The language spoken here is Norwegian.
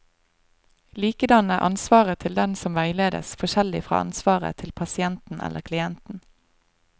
Likedan er ansvaret til den som veiledes, forskjellig fra ansvaret til pasienten eller klienten.